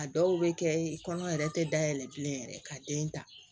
A dɔw bɛ kɛ kɔnɔ yɛrɛ tɛ da yɛlɛ bilen yɛrɛ ka den ta